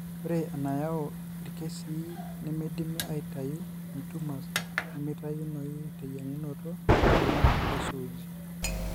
Ore enayau irkesii nemeidimi aitayu (intumors nemeitayunoyu teyieng'unoto) naa eisuuji.